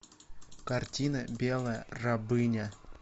картина белая рабыня